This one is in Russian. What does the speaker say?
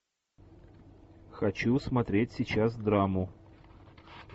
хочу смотреть сейчас драму